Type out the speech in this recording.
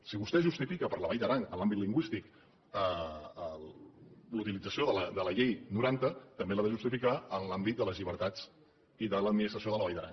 si vostè justifica per a la vall d’aran en l’àmbit lingüístic la utilització de la llei del noranta també l’ha de justificar en l’àmbit de les llibertats i de l’administració de la vall d’aran